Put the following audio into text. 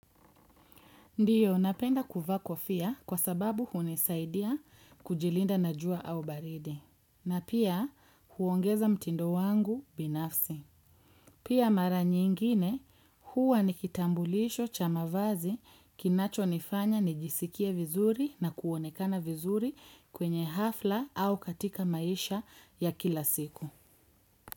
Ndiyo, napenda kuvaa kofia kwa sababu hunisaidia kujilinda na jua au baridi. Na pia huongeza mtindo wangu binafsi. Pia mara nyingine huwa nikitambulisho cha mavazi kinachonifanya nijisikie vizuri na kuonekana vizuri kwenye hafla au katika maisha ya kila siku.